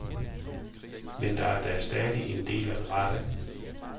Men der er da stadig en del at rette.